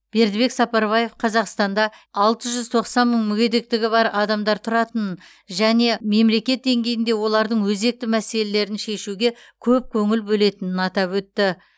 бердібек сапарбаев қазақстанда алты жүз тоқсан мың мүгедектігі бар адамдар тұратынын және мемлекет деңгейінде олардың өзекті мәселелерін шешуге көп көңіл бөлетінін атап өтті